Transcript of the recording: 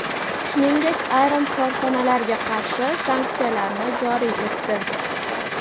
shuningdek ayrim korxonalarga qarshi sanksiyalarni joriy etdi.